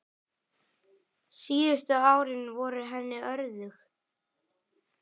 Síðustu árin voru henni örðug.